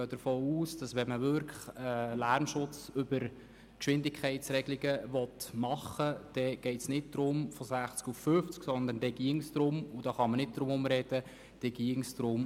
Wollte man einen Lärmschutz über eine Geschwindigkeitsreduktion erreichen, ginge es unserer Schätzung nach nicht darum, die Geschwindigkeit von 60 km/h auf 50 km/h, sondern auf 30 km/h zu reduzieren.